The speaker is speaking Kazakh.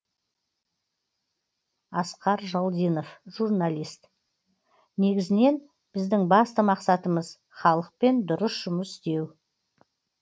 асқар жалдинов журналист негізінен біздің басты мақсатымыз халықпен дұрыс жұмыс істеу